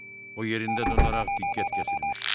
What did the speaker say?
O yerində donaraq diqqət kəsilmişdi.